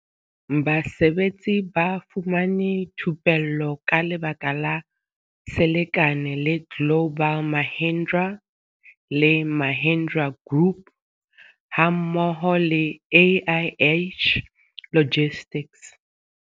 Basebetsi ba fumane thupello ka lebaka la selekane le global Mahindra le Mahindra group hammo ho le AIH logistics.